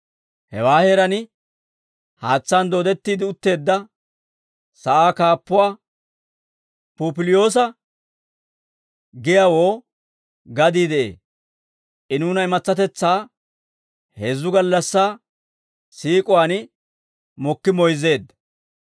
Hewaa heeraan haatsaan dooddetti utteedda sa'aa kaappuwaa Pupiliyoosa giyaawoo gadii de'ee; I nuuna imatsatetsaa, heezzu gallassaa siik'uwaan mokki moyzzeedda.